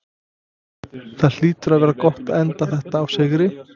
Það hlýtur að vera gott að enda þetta á sigri?